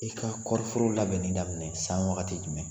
I yi ka kɔriforo labɛnni daminɛ san wagati jumɛn ?